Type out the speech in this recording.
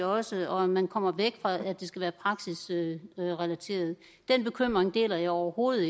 også og om man kommer væk fra at det skal være praksisrelateret den bekymring deler jeg overhovedet